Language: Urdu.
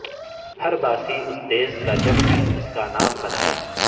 ہر باسی اس دیس کا جگ میں اس کا نام بنائے